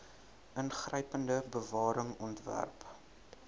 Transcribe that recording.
ingrypende bewaring ontwerp